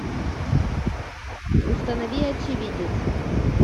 установи очевидец